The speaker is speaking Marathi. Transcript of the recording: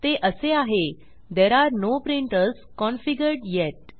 ते असे आहे there are no printers configured येत